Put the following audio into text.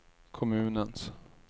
kommunens